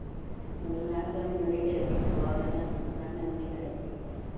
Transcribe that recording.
ਮੈਨੂੰ ਨੈਣ ਕਹੇ ਮੈਨੂੰ ਨੀ ਕਿਸੇ ਦੀ ਪ੍ਰਵਾਹ ਮਹਾਂ, ਮਹਾਂ ਮੈਨੂੰ ਨੀ ਕਿਸੇ ਦੀ ਹੈ